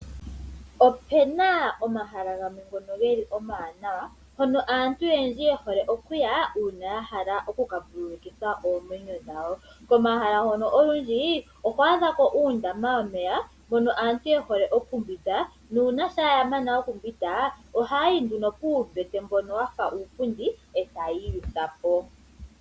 Opuna omahala gamwe ngono ge li omawanawa hono aantu oyendji ye hole okuya uuna ya hala oku ka vululikitha oomwenyo dhawo. Komahala hono olundji oho adha ko uundama womeya mono aantu ye hole okumbwinda/okuyoga nuuna shampa ya mana omumbwinda ohaya yi puumbete mbono wafa uupundi etayii yutha po.